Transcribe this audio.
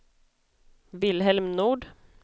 Wilhelm Nord